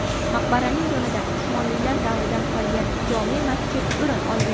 Maqbaraning yonida Usmonlilar davridan qolgan jome’ masjid o‘rin olgan.